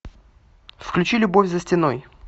включи любовь за стеной